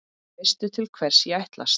Veistu til hvers ég ætlast?